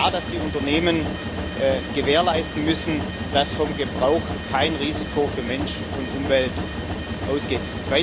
Es ist klar, dass die Unternehmen gewährleisten müssen, dass vom Gebrauch kein Risiko für Mensch und Umwelt ausgeht.